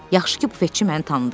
Yaxşı ki, büfetçi məni tanıdı.